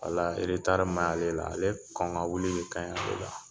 Walayi min b'ale ka la, ale kon ka wili de ka, ɲi ale la.